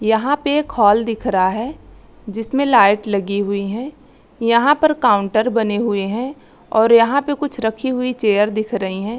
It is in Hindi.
यहाँ पे एक हॉल दिख रहा है जिसमे लाइट लगी हुई है यहाँ पर काउंटर बने हुए है और यहाँ पर रखी हुई कुछ चेयर दिख रही है।